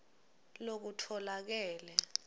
lokutfolakele